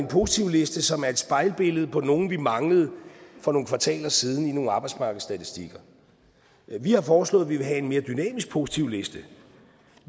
positivliste som er et spejlbillede på nogle vi manglede for nogle kvartaler siden i nogle arbejdsmarkedsstatistikker vi har foreslået at vi vil have en mere dynamisk positivliste